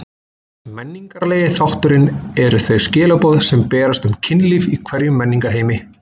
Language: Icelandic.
Menningarlegi þátturinn eru þau skilaboð sem berast um kynlíf í hverjum menningarheimi.